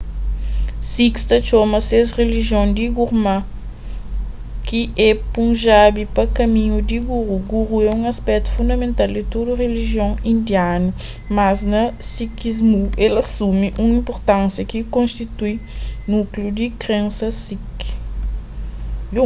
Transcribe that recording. sikhs ta txoma ses rilijion di gurmat ki é punjabi pa kaminhu di guru guru é un aspetu fundamental di tudu rilijion indianu mas na sikhismu el asumi un inpurtánsia ki konstitui núkliu di krensas sikh